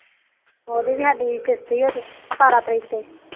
ਉਹਦੀ ਵੀ ਸਾਡੀ ਕਿਸ਼ਤ ਸਤਾਰਾ ਤਰੀਕ ਦੀ